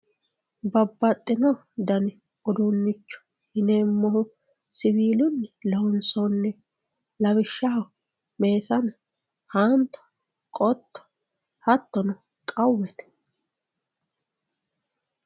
Babbaxxino dani uduunnicho yineemmohu siwiilunni loonsoonniho lawishshaho, meesane, haanto, qotto, hattono qawwete.